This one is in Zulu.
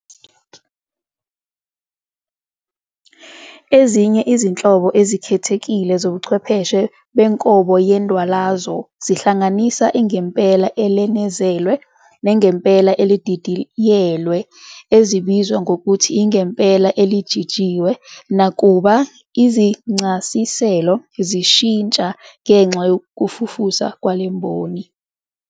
Ezinye izinhlobo ezikhethekile zobuchwepheshe benkobo yendwalazo zihlanganisa ingempela elenezelwe, nengempela elididiyelwe, ezibizwa ngokuthi ingempela elijijiwe, nakuba izincasiselo zishintsha ngenxa yokufufusa kwalemboni.